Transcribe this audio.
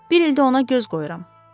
Bir ildir ona göz qoyuram.